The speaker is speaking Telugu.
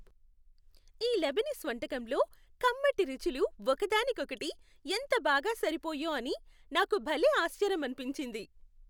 ఈ లెబనీస్ వంటకంలో కమ్మటి రుచులు ఒక దానికి ఒకటి ఎంత బాగా సరిపోయో అని నాకు భలే ఆశ్చర్యమనిపించింది.